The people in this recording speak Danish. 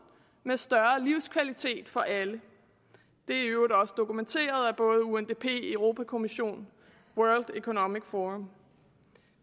med større livskvalitet for alle det er i øvrigt også dokumenteret af både undp europa kommissionen og world economic forum